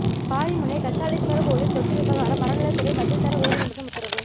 பாரிமுனை கச்சாலீஸ்வர் கோயில் சொத்து விவகாரம் அறநிலையத்துறை பதில் தர உயர்நீதிமன்றம் உத்தரவு